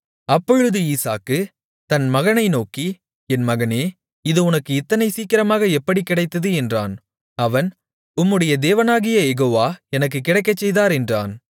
அப்பொழுது ஈசாக்கு தன் மகனை நோக்கி என் மகனே இது உனக்கு இத்தனை சீக்கிரமாக எப்படி கிடைத்தது என்றான் அவன் உம்முடைய தேவனாகிய யெகோவா எனக்குக் கிடைக்கச்செய்தார் என்றான்